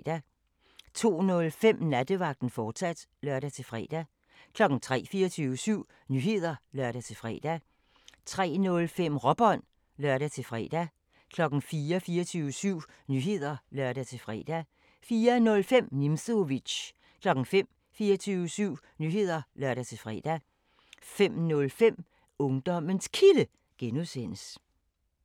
02:05: Nattevagten, fortsat (lør-fre) 03:00: 24syv Nyheder (lør-fre) 03:05: Råbånd (lør-fre) 04:00: 24syv Nyheder (lør-fre) 04:05: Nimzowitsch 05:00: 24syv Nyheder (lør-fre) 05:05: Ungdommens Kilde (G)